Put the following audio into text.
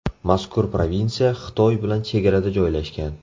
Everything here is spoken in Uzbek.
Mazkur provinsiya Xitoy bilan chegarada joylashgan.